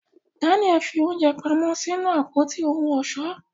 Danial fi oúnjẹ pamọ́ sínú Àpótí ohun ọ̀ṣọ́.